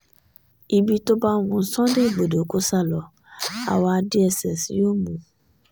ibi tó bá wu sunday igbodò kó sá lọ àwa dss yóò mú un